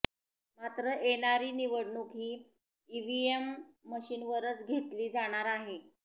मात्र येणारी निवडणूक ही ईव्हीएम मशीनवरच घेतली जाणार आहे